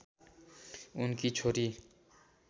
उनकी छोरी